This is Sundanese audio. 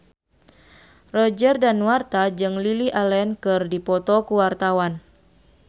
Roger Danuarta jeung Lily Allen keur dipoto ku wartawan